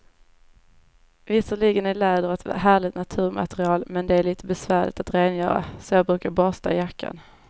Visserligen är läder ett härligt naturmaterial, men det är lite besvärligt att rengöra, så jag brukar borsta jackan.